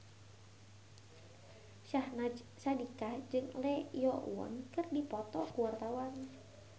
Syahnaz Sadiqah jeung Lee Yo Won keur dipoto ku wartawan